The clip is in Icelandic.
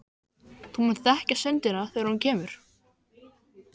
Þú munt þekkja stundina þegar hún kemur.